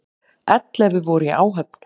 Ellefu voru í áhöfn.